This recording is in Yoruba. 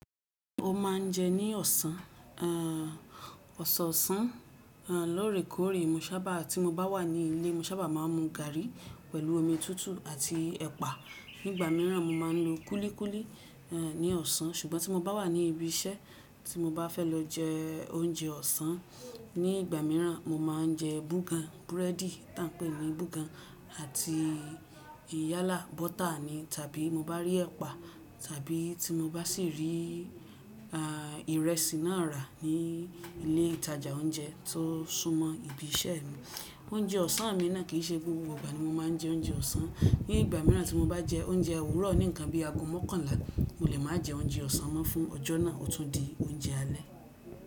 Mo ma n je ní ọ̀sán, àn, ọ̀sọ̀ọ̀sán, àn, lóòrèkóòrè mo sábà tí mo bá wà ní ilé mo sábà máa ń mu gàrí pẹ̀lú omi tútù àti ẹ̀pà. Nígbà míràn mo máa ń lo kúlíkúlí, àn, ní ọ̀sán ṣùgbọ́n tí mo bá wà ní ibi iṣẹ́ tí mo bá fẹ́ lọ jẹ oúnjẹ ọ̀sán, ní ìgbà míràn mo máa ń jẹ búgan, búrẹ́dì tá ń pè ní búgan àti yálà bọ́tà ní tàbí mo bá rí ẹpa tàbí tí mo bá sì rí, àh, ìrẹsì náà rà ní ilé ìtajà oúnjẹ tó súnmọ́ ibi iṣẹ́ mi. Oúnjẹ ọ̀sán mi náà kì í ṣe gbogbo ìgbà ni mo máa ń jẹ oúnjẹ ọ̀sán, ní ìgbà míràn tí mo bá jẹ oúnjẹ òwúrọ̀ ní ǹkan bí i ago mọ́kànlá mo lè máa jẹ oúnjẹ ọ̀sán mọ́ fún ọjọ́ náà, ó tún di oúnjẹ alẹ́.